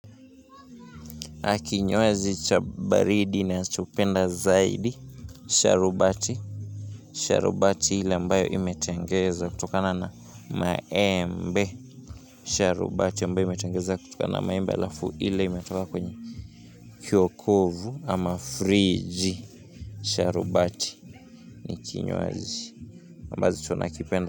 Kinywaji cha baridi nachopenda zaidi, sharubati, sharubati ile ambayo imetengeza kutokana na maembe, sharubati imetengeza kutokana na maembe alafu ili imetoka kwenye, jokovu ama friji, sharubati ni kinywaji. Aki nyowazi chabaridi na chupenda zaidi, sharubati ni kinyowazi.